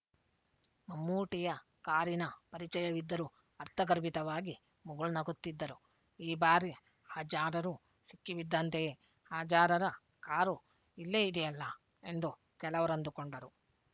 ಮಮ್ಮೂಟಿಯ ಕಾರಿನ ಪರಿಚಯವಿದ್ದರು ಅರ್ಥಗರ್ಭಿತವಾಗಿ ಮುಗುಳ್ನಗುತ್ತಿದ್ದರು ಈ ಬಾರಿ ಹಾಜಾರರು ಸಿಕ್ಕಿ ಬಿದ್ದಂತೆಯೇ ಹಾಜಾರರ ಕಾರು ಇಲ್ಲೇ ಇದೆಯಲ್ಲ ಎಂದೂ ಕೆಲವರಂದುಕೊಂಡರು